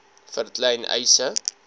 vir klein eise